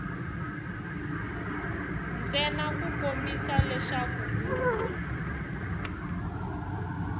ntsena ku kombisa leswi u